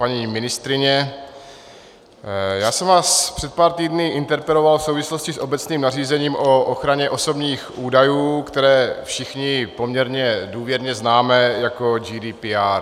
Paní ministryně, já jsem vás před pár týdny interpeloval v souvislosti s obecným nařízením o ochraně osobních údajů, které všichni poměrně důvěrně známe jako GDPR.